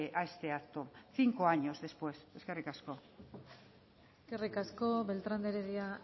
a este acto cinco años después eskerrik asko eskerrik asko beltrán de heredia